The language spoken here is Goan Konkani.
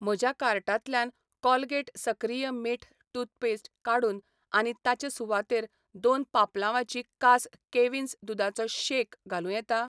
म्हज्या कार्टांतल्यान कोलगेट सक्रिय मीठ टूथपेस्ट काडून आनी ताचे सुवातेर दोन पापलांवाची कास कॅव्हिन्स दुदाचो शेक घालूं येता?